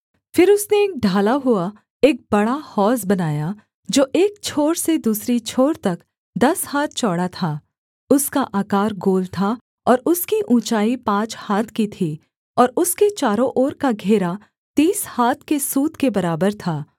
फिर उसने एक ढाला हुआ एक बड़ा हौज बनाया जो एक छोर से दूसरी छोर तक दस हाथ चौड़ा था उसका आकार गोल था और उसकी ऊँचाई पाँच हाथ की थी और उसके चारों ओर का घेरा तीस हाथ के सूत के बराबर था